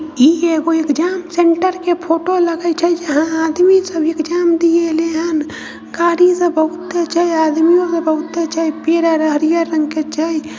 ई एगो exam centre के photo लगे छै जहाँ आदमी सब एग्जाम देले एलेहन। गाड़ी सब बहुते छै। आदमियों सब बहुते छै। पेड़ आर हरिहर रंग के छै।